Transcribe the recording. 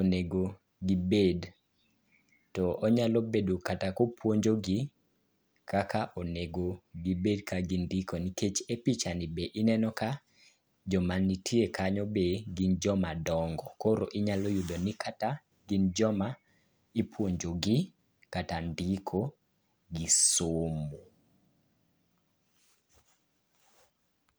onego gibed, to onyalo bedo kata kopuonjogi kaka onego gibed kaka gindiko nikech e pichani be ineno ka joma nitie kanyo be gin jomadongo. Koro inyalo yudo ni kata gin joma ipuonjogi kata ndiko gi somo.